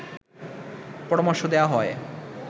পরামর্শ দেওয়া হয়